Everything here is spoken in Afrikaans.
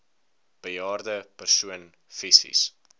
bejaarde persoon fisies